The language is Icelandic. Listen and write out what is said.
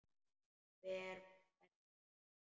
Hver var að berja?